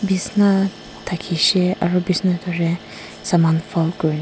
Bisna thakishe aro bisna toh hoile saman fold kurina--